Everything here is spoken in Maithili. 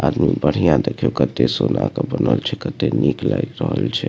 आदमी बढ़िया देखियो कते सोना के बनल छै कते निक लाएग रहल छै।